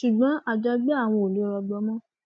ṣùgbọn àjọgbé àwọn ò lè rọgbọ mọ